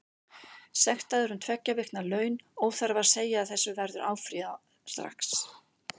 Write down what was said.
Sektaður um tveggja vikna laun, óþarfi að segja að þessu verður áfrýjað strax.